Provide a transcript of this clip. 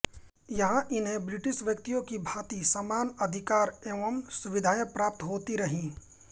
यहाँ इन्हें ब्रिटिश व्यक्तियों की भाँति समान अधिकार एवं सुविधाएं प्राप्त होती रहीं